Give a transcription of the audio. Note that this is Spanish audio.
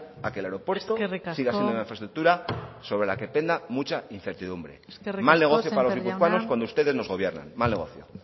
a que el aeropuerto y las infraestructuras sobre la que dependa mucha incertidumbre mal negocio para los guipuzcoanos cuando ustedes nos gobiernan mal negocio